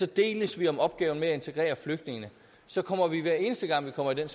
deles vi om opgaven med at integrere flygtningene så kommer vi hver eneste gang vi kommer i den